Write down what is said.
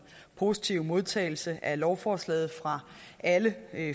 positive modtagelse af lovforslaget fra alle